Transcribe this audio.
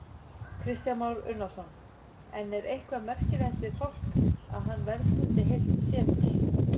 Kristján Már Unnarsson: En er eitthvað merkilegt við fálkann, að hann verðskuldi heilt setur?